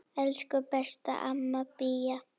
Elsku besta amma Bía.